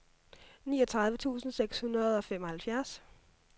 niogtredive tusind seks hundrede og femoghalvfjerds